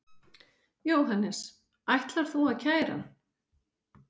Jóhannes: Ætar þú að kæra hann?